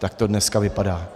Tak to dneska vypadá.